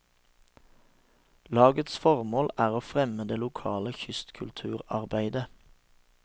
Lagets formål er å fremme det lokale kystkulturarbeidet.